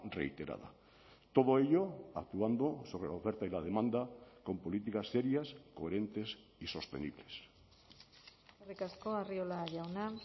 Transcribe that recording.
reiterada todo ello actuando sobre la oferta y la demanda con políticas serias coherentes y sostenibles eskerrik asko arriola jauna